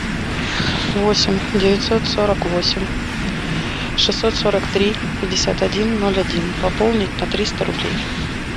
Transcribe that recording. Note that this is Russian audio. восемь девятьсот сорок восемь шестьсот сорок три пятьдесят один ноль один пополнить на триста рублей